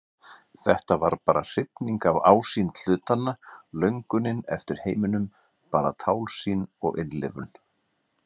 Þetta var bara hrifning af ásýnd hlutanna, löngunin eftir heiminum, bara tálsýn og innlifun.